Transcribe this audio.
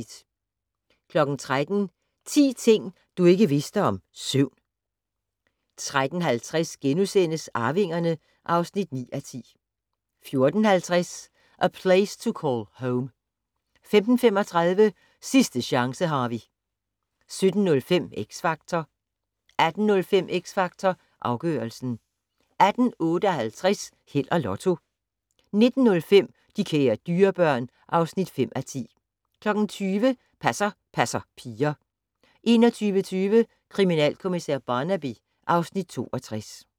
13:00: 10 ting du ikke vidste om søvn 13:50: Arvingerne (9:10)* 14:50: A Place To Call Home 15:35: Sidste chance, Harvey 17:05: X Factor 18:05: X Factor Afgørelsen 18:58: Held og Lotto 19:05: De kære dyrebørn (5:10) 20:00: Passer passer piger 21:20: Kriminalkommissær Barnaby (Afs. 62)